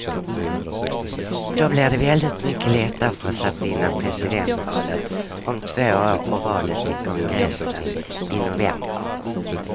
Då blir det väldigt mycket lättare för oss att vinna presidentvalet om två år och valet till kongressen i november.